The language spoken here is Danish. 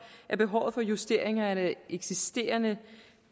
at behovet for justeringer af det eksisterende